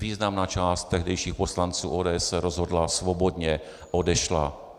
Významná část tehdejších poslanců ODS se rozhodla, svobodně odešla.